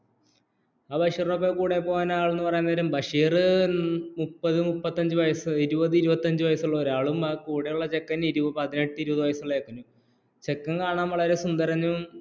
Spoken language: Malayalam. ബഷീറിന്റെ ഒപ്പം കൂടെപ്പോകൻ അലുംപരയുംനേരം ബഷീര്‍മുപത് മുപതഞ്ഞുവയസും ഇരുപതു ത്ഇരുപതഞ്ഞുവയസുഉള്ള ഒരു ആളും ആ കൂടെ ഉള്ള ചെക്കന്‍ അതിനെട് ഇരുപതു വയസുള്ളആളും ചേകന്‍ കണ്‍ കാണന്‍ വളരെ സുന്ദരനും